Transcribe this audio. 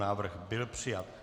Návrh byl přijat.